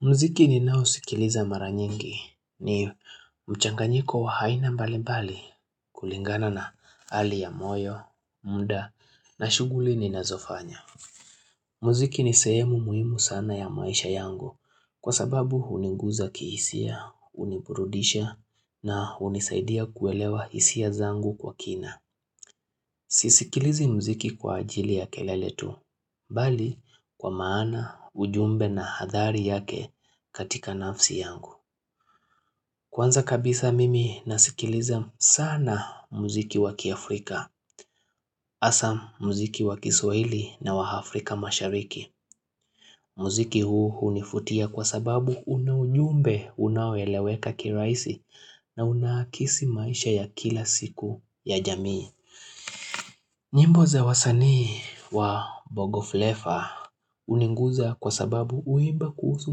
Muziki ninao sikiliza mara nyingi ni mchanganyiko wa aina mbali mbali kulingana na hali ya moyo, muda na shughuli ninazofanya. Muziki ni sehemu muhimu sana ya maisha yangu kwasababu huninguza kihisia, huniburudisha na hunisaidia kuelewa hisia zangu kwa kina. Sisikilizi muziki kwa ajili ya kelele tu Bali kwa maana, ujumbe na athari yake katika nafsi yangu Kwanza kabisa mimi nasikiliza sana muziki wakiafrika hasa muziki wakiswahili na wa Afrika mashariki muziki huu hunivutia kwa sababu una ujumbe, unaoeleweka kirahisi na unaakisi maisha ya kila siku ya jamii nyimbo za wasani wa bongo flavour huninguza kwa sababu huimba kuhusu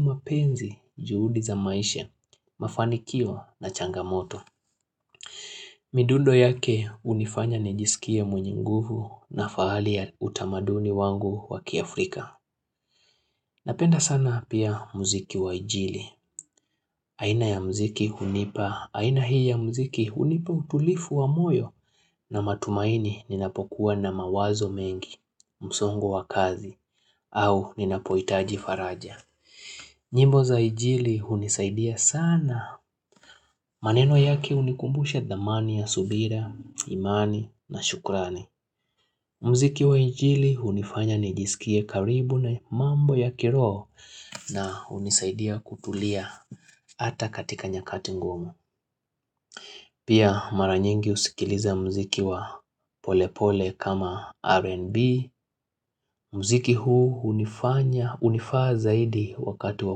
mapenzi juhudi za maisha, mafanikio na changamoto. Midundo yake hunifanya nijisikie mwenye nguvu na fahari ya utamaduni wangu wakiafrika. Napenda sana pia muziki wa injili, aina ya muziki hunipa, aina hii ya muziki hunipa utulifu wa moyo na matumaini ninapokuwa na mawazo mengi, msongo wa kazi au ninapohitaji faraja. Nyimbo za injili hunisaidia sana, maneno yaki hunikumbusha dhamani ya subira, imani na shukrani. Myziki wa injili hunifanya nijisikie karibu na mambo ya kiroho na hunisaidia kutulia ata katika nyakati ngumu. Pia mara nyingi husikiliza muziki wa pole pole kama R&B. Muziki huu hunifanya hunifaa zaidi wakati wa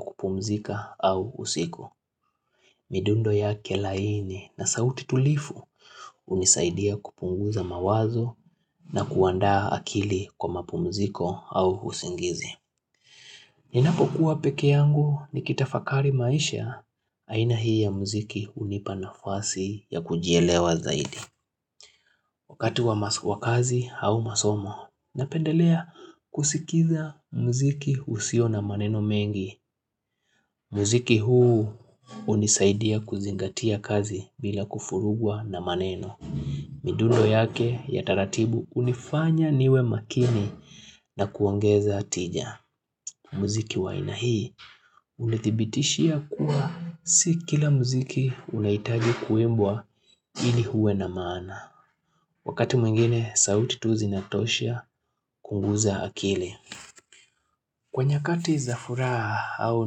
kupumzika au usiku. Midundo yake laini na sauti tulivu hunisaidia kupunguza mawazo na kuandaa akili kwa mapumziko au usingizi. Ninapokuwa peke yangu nikitafakari maisha, aina hii ya muziki hunipa nafasi ya kujielewa zaidi. Wakati wa kazi au masomo, napendelea kusikiza muziki usio na maneno mengi. Muziki huu unisaidia kuzingatia kazi bila kufurugwa na maneno midundo yake ya taratibu hunifanya niwe makini na kuongeza tija muziki wa aina hii hunidhibitishia kuwa si kila muziki unahitaji kuimbwa ili uwe na maana Wakati mwingine sauti tu zina toshea kupunguza akili Kwa nyakati za furaha au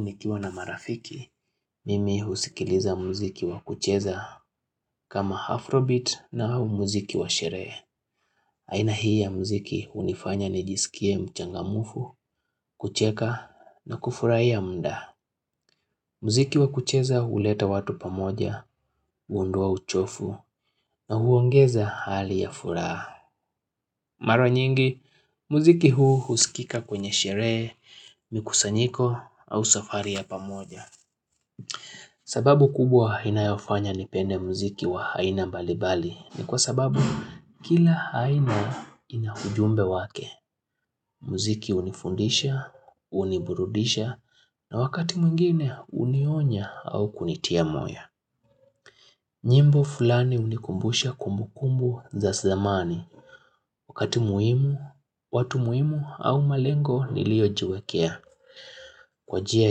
nikiwa na marafiki, mimi husikiliza muziki wa kucheza kama Afrobeat na au muziki wa sherehe. Aina hii ya muziki hunifanya nijisikie mchangamfu, kucheka na kufurahia muda. Muziki wa kucheza huleta watu pamoja, huondoa uchovu na huongeza hali ya furaha. Mara nyingi, muziki huu huskika kwenye sherehe, mikusanyiko au safari ya pamoja. Sababu kubwa inayofanya nipende muziki wa aina mbali mbali ni kwa sababu kila aina ina ujumbe wake. Muziki hunifundisha, huniburudisha na wakati mwingine hunionya au kunitia moyo nyimbo fulani hunikumbusha kumbu kumbu za zamani wakati muhimu, watu muhimu au malengo niliojiwekea. Kwa njia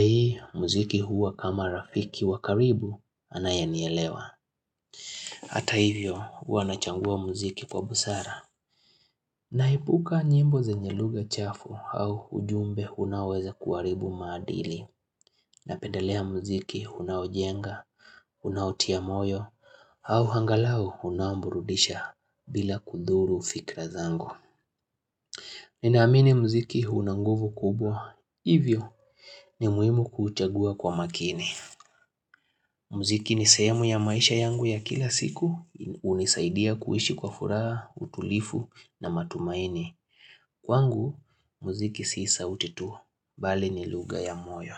hii, muziki huwa kama rafiki wakaribu anayenielewa Hata hivyo, huwa nachagua muziki kwa busara naepuka nyimbo zenye lugha chafu au ujumbe unaoweza kuharibu maadili Napendalea muziki unaojenga, unautia moyo au angalau unaoburudisha bila kuthuru fikra zangu Ninaamini muziki una nguvu kubwa, hivyo ni muhimu kuuchagua kwa makini muziki ni sehemu ya maisha yangu ya kila siku hunisaidia kuishi kwa furaha utulivu na matumaini Kwangu muziki sio sauti tu bali ni lugha ya moyo.